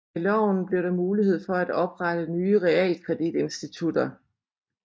Med loven blev der mulighed for at oprette nye realkreditinstitutter